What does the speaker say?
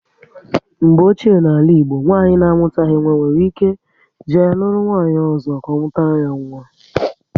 Mgbe ochie na ala Igbo, nwanyị na amutaghi nwa nwere ike e jee lụrụ nwanyị ọzọ ka ọ mụtara ya nwa